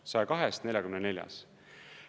Nii et 102-st 44-s.